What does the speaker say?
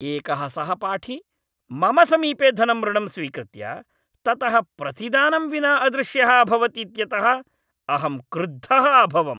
एकः सहपाठी मम समीपे धनम् ऋणं स्वीकृत्य ततः प्रतिदानं विना अदृश्यः अभवत् इत्यतः अहं क्रुद्धः अभवम्।